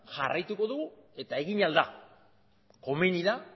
jarraituko dugu eta egin ahal da komeni da